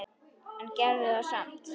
En gerðu það samt.